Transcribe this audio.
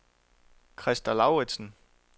Krista Lauritsen